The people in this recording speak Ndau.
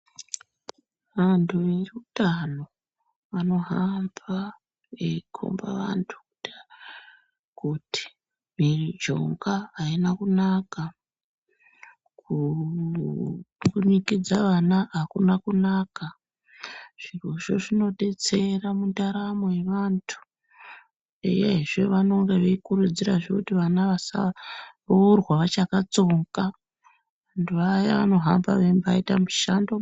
Antu eutano anohamba eikomba antu kuti mujonga haina kunaka. Kumbunikidza ana hakuna kunaka zvirozvo zvinobetsera mundaramo yevantu, uyezve vanenge veikurudzirazve kuti vana vasaurwa vachakatsonga. Vantu vaya vanohamba veimbaita mishando.